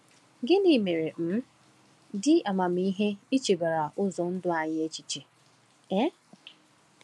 Gịnị mere ọ um dị amamihe ichebara ụzọ ndụ anyị echiche? um